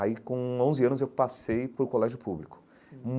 Aí, com onze anos, eu passei para o colégio público.